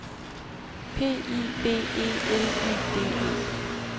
P I B E L Y D E